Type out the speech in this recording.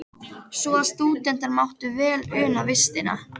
Svo að stúdentar máttu vel una vistinni.